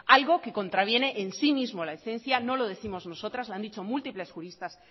algo que contraviene en sí mismo la no lo décimos nosotras lo han dicho múltiples juristas